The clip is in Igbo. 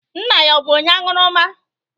Nna ya ọ̀ bụ onye aṅụrụma?